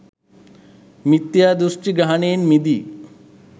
මිථ්‍යාදෘෂ්ඨි ග්‍රහණයෙන් මිදී